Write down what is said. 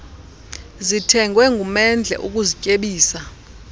zithengwe ngumendle ukuzityebisa